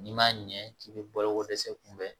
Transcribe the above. N'i ma ɲɛ k'i bɛ bolokodɛsɛ kunbɛn